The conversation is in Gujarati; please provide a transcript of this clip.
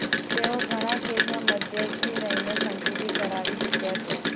તેઓ ઘણાં કેસમાં મધ્યસ્થી રહીને સમજૂતી કરાવી ચૂક્યા છે